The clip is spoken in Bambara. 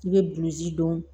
I bɛ bilisi dɔn